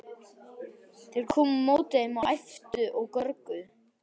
Þeir komu á móti þeim og æptu og görguðu.